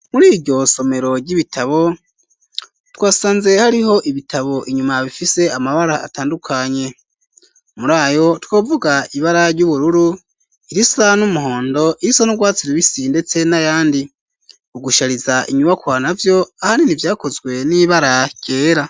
Muriryo somero ry'ibitabo twasanze hariho ibitabo inyuma bifise amabara atandukanye murayo twovuga ibara ry'ubururu irisa n'umuhondo irisa n'urwatsi rubisi ndetse n'ayandi ugushariza inyubakua navyo ahanini vyakozwe n'ibara ryera.